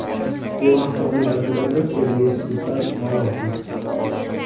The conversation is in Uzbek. Bu haqda uning advokati Sergey Slesarev ma’lum qildi .